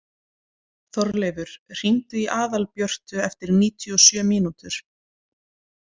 Þorleifur, hringdu í Aðalbjörtu eftir níutíu og sjö mínútur.